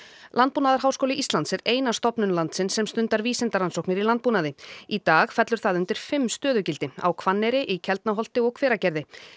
landbúnaðarháskóli Íslands er eina stofnun landsins sem stundar vísindarannsóknir í landbúnaði í dag fellur það undir fimm stöðugildi sem á Hvanneyri í Keldnaholti og Hveragerði